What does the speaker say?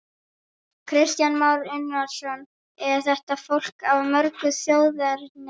Kristján Már Unnarsson: Er þetta fólk af mörgu þjóðerni?